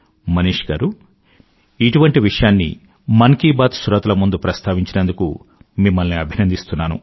మనీష్ గారూ ఇటువంటి విషయాన్ని మన్ కీ బాత్ శ్రోతల ముందు ప్రస్తావించినందుకు మిమ్మల్ని అభినందిస్తున్నాను